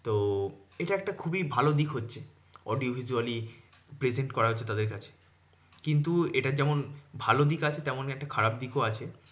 তো এটা একটা খুবই ভালো দিক হচ্ছে। audio visually present করা হচ্ছে তাদের কাছে কিন্তু এটার যেমন ভালো দিক আছে, তেমনই একটা খারাপ দিকও আছে।